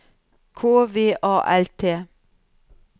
K V A L T